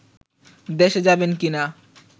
দেশে যাবেন কিনা